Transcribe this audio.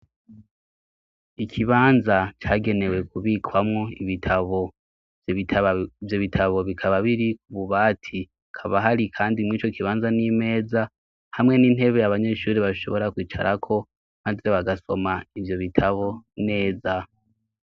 Ikibanza cagenewe kubikwamwo iitabo vyo bitabo bikaba biri ku bubati kaba hari, kandi mwico kibanza n'imeza hamwe n'intebe yabanyeshuri bashobora kwicarako, maze bagasoma ivyo bitabo neza.